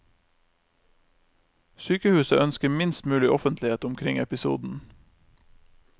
Sykehuset ønsker minst mulig offentlighet omkring episoden.